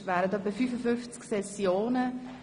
13.30-14.28 Uhr Ursula Zybach, Spiez (SP)